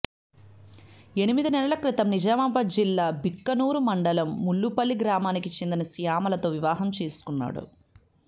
ఎనిమిది నెలల క్రితం నిజామాబాద్ జిల్లా బిక్కనూరు మండలం ముల్లుపల్లి గ్రామానికి చెందిన శ్యామలతో వివాహం చేసుకున్నాడు